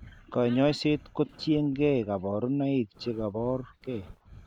Kanyaiset ko tien gee kabarunaik chekabor gee